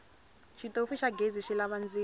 xitofu xa ghezi xilava ndzilo